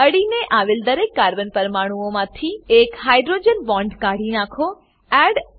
અડીને આવેલા દરેક કાર્બન પરમાણુઓમાંથી એક હાઇડ્રોજન બોન્ડ હાઇડ્રોજન બોન્ડ કાઢી નાખો